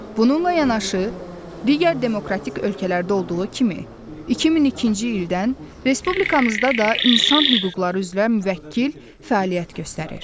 Bununla yanaşı, digər demokratik ölkələrdə olduğu kimi 2002-ci ildən Respublikamızda da insan hüquqları üzrə müvəkkil fəaliyyət göstərir.